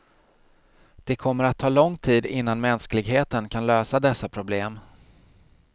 Det kommer att ta lång tid innan mänskligheten kan lösa dessa problem.